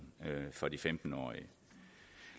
for de femten årige